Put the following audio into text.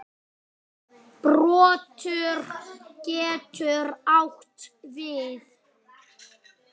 Broddur getur átt við